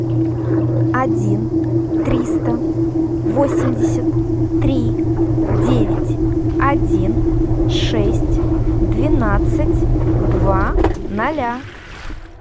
один триста восемьдесят три девять один шесть двенадцать два ноля